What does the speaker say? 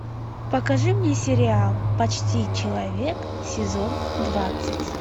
покажи мне сериал почти человек сезон двадцать